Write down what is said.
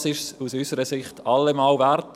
Das ist es aus unserer Sicht allemal wert.